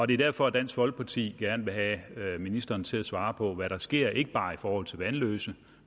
det er derfor dansk folkeparti gerne vil have ministeren til at svare på hvad der sker ikke bare i forhold til vanløse